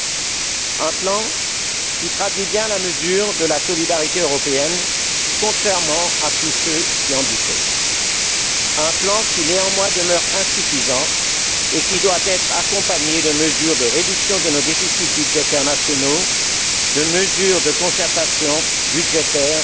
Il s'agit d'un plan qui traduit bien la mesure de la solidarité européenne, contrairement à tous ceux qui en doutaient, mais un plan qui demeure insuffisant et doit être accompagné de mesures de réduction de nos déficits budgétaires nationaux, de mesures de concertation budgétaires